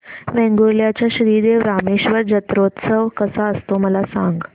वेंगुर्ल्या चा श्री देव रामेश्वर जत्रौत्सव कसा असतो मला सांग